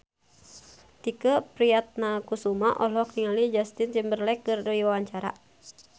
Tike Priatnakusuma olohok ningali Justin Timberlake keur diwawancara